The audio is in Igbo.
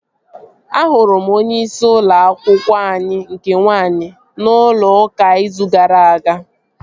Ahụrụ m onyeisi ụlọ akwụkwọ anyị nke nwaanyị n'ụlọ ụka izu gara aga